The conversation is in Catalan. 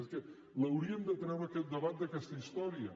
és que l’hauríem de treure aquest debat d’aquesta història